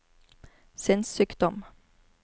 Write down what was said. sinnssykdom